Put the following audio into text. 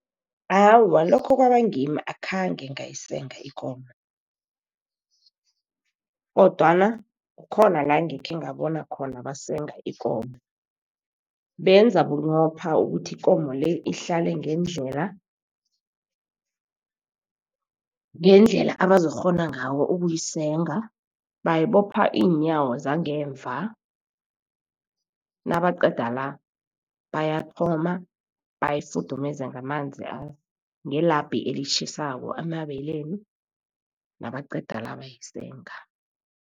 Awa, lokho kwabangimi, akhange ngayisenga ikomo, kodwana khona la, ngikhengabona khona basenga ikomo. Benza bunqopha ukuthi ikomo le, ihlale ngendlela abazokukghona ngawo ukuyisenga. Bayibopha iinyawo zangemva, nabaqeda la, bayathoma bayifuthumeza ngelabhi elitjhisako amabeleni nabaqeda la, bayisenga.